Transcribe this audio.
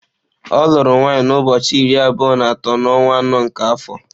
Ọ lụrụ nwaanyị na ụbọọchi iri abụọ na atọ na onwa anọ nke afọ.